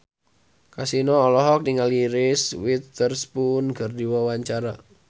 Kasino olohok ningali Reese Witherspoon keur diwawancara